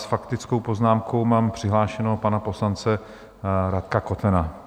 S faktickou poznámkou mám přihlášeného pana poslance Radka Kotena.